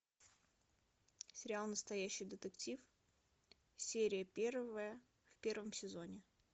сериал настоящий детектив серия первая в первом сезоне